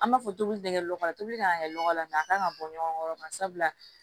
An b'a fɔ tobili tɛ kɛ lɔgɔ la tobili kan ka kɛ nɔgɔ la a kan ka bɔ ɲɔgɔn kɔrɔ sabula